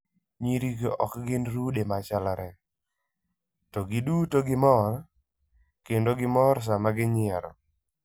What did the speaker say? Nyirigo ok gin rude ma chalre, to giduto gimor, kendo gimor sama ginyiero.